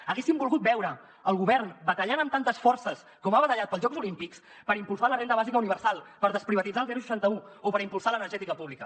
haguéssim volgut veure el govern batallant amb tantes forces com ha batallat pels jocs olímpics per impulsar la renda bàsica universal per desprivatitzar el seixanta un o per impulsar l’energètica pública